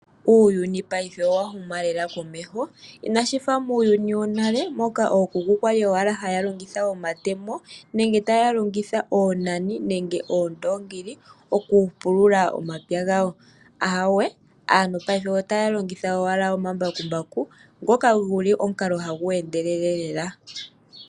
Uuyuni paife owa huma lela komeho inashi fa muuyuni wonale moka ookuku kwali owala haya longitha omatemo nenge taya longitha oonani nenge oondongi okupulula omapya gawo ahawe aantu paife otaya longitha owala omambakumbaku ngoka guli omukalo hagu endelele lela.